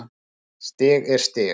Stig er stig.